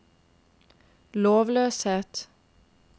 lovløshet